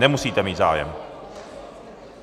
Nemusíte mít zájem.